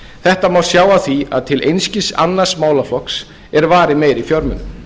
þetta má sjá af því að til einskis annars málaflokks er varið meiri fjármunum